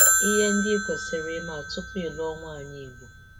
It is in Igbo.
Ìhè ndị ị̀ kwesị̀rị̀ ị̀mà kwesị̀rị̀ ị̀mà tupu ị lụọ nwàànyị Igbo.